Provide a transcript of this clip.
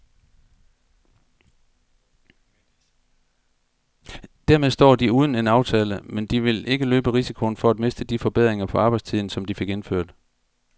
Dermed står de uden en aftale, men de vil ikke løbe risikoen for at miste de forbedringer på arbejdstiden, som de fik indført.